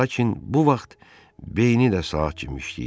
Lakin bu vaxt beyni də saat kimi işləyirdi.